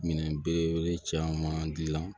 Minɛn belebele caman gilan